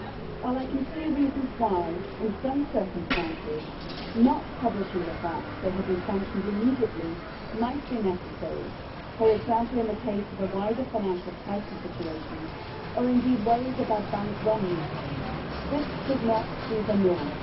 While I can see reasons why, in some circumstances, not immediately publishing the fact that they have been sanctioned might be necessary, for example in the case of a wider financial crisis situation or, indeed, worries about bank runs, this should not be the norm.